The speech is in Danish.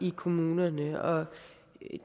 i kommunerne og